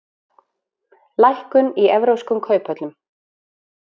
Lækkun í evrópskum kauphöllum